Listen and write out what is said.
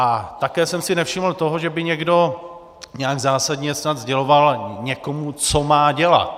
A také jsem si nevšiml toho, že by někdo nějak zásadně snad sděloval někomu, co má dělat.